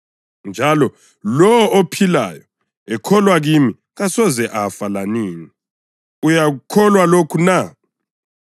njalo lowo ophilayo ekholwa kimi kasoze afa lanini. Uyakukholwa lokhu na?”